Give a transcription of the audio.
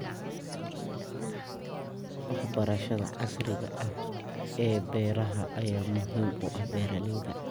Waxbarashada casriga ah ee beeraha ayaa muhiim u ah beeralayda.